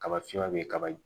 Kaba finman be kaba in